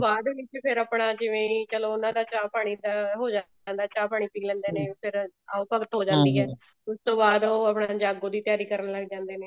ਬਾਅਦ ਵਿੱਚ ਫਿਰ ਆਪਣਾ ਜਿਵੇਂ ਚਲੋ ਉਹਨਾ ਦਾ ਚਾਹ ਪਾਣੀ ਦਾ ਹੋ ਜਾਂਦਾ ਚਾਹ ਪਾਣੀ ਪੀ ਲੇਂਦੇ ਨੇ ਫਿਰ ਆਓ ਭਗਤ ਹੋ ਜਾਂਦੀ ਏ ਉਸ ਤੋਂ ਬਾਅਦ ਉਹ ਆਪਨੇ ਜਾਗੋ ਦੀ ਤਿਆਰੀ ਕਰਨ ਲੱਗ ਜਾਂਦੇ ਨੇ